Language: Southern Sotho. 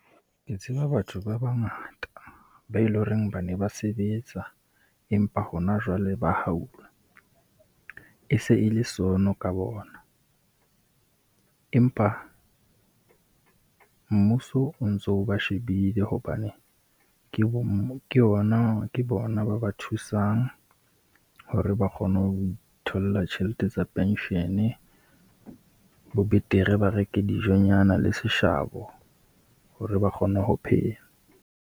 Ke tseba batho ba bangata, be e le horeng ba ne ba sebetsa, empa hona jwale ba ha a haul. E se e le sono ka bona, empa mmuso o ntso ba shebile hobane ke bo ke yona, ke bona ba ba thusang hore ba kgone ho itholla tjhelete tsa pension-e. Ho betere ba reke dijonyana le seshabo hore ba kgone ho phela.